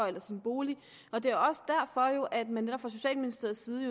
eller sin bolig det er også derfor at man fra socialministeriets side